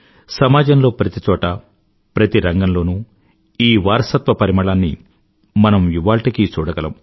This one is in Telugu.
సమాజంలో ప్రతి చోటా ప్రతి రంగంలోనూ ఈ వారసత్వ పరిమళాన్ని మనం ఇవాళ్టికీ చూడగలం